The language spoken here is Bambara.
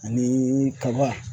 Ani kaba.